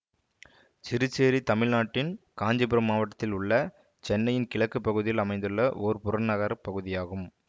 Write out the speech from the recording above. சிறுசேரி தமிழ்நாட்டின் காஞ்சிபுரம் மாவட்டத்தில் உள்ள சென்னையின் கிழக்கு பகுதியில் அமைந்துள்ள ஓர் புறநகர் பகுதியாகும்